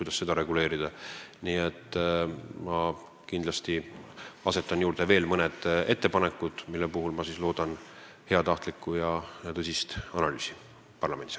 Ma toon aga kindlasti juurde mõned ettepanekud, mille puhul ma loodan heatahtlikku ja tõsist analüüsi parlamendis.